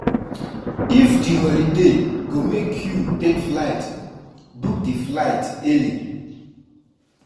If di holiday go make you take flight, book di flight early